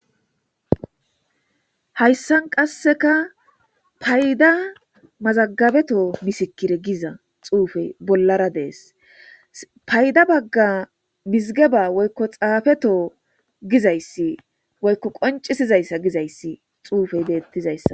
Haysan qaseka fayda mazagabeto misikre giza xufey bollara Des. Fayda Baga mizigeba woyko xafeto gizaysa woyko qociaizaysa gizays xufey betes.